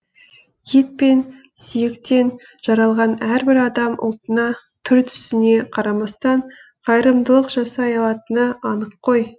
ет пен сүйектен жаралған әрбір адам ұлтына түр түсіне қарамастан қайырымдылық жасай алатыны анық қой